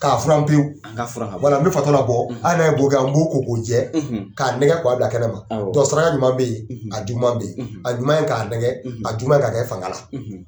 ka furan pewu, an ka furan ka bɔ ye wala n bɛ fatɔ labɔ hali n'a ye an b'o ko k'o jɛ k'a nɛgɛ ka wa bila kɛnɛma o saraka ɲuman bɛ ye a juguma bɛ ye a ɲuman ye k'a nɛgɛ a juguma ye ka kɛ fanga la.